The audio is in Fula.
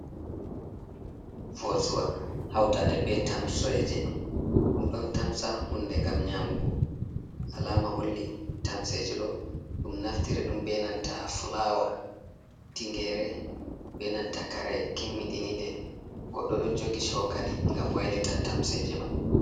Vosua hautade be tamseje ,dum don tamsa hunde gam nyamugo alama holli tamseje do dum naftiri dum benanta flawa tingere benantakare kimmiɗinide goddo do jogi chokali gam wailita tamseje man.